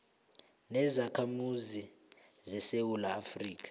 nezakhamuzi zesewula afrika